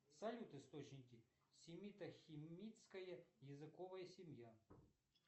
салют источники семито хамитская языковая семья